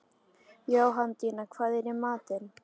Jóhanndína, hvað er í matinn?